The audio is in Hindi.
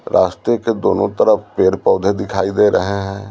रास्ते के दोनों तरफ पेड़ पौधे दिखाई दे रहे हैं।